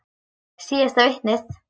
Síðasta vitnið.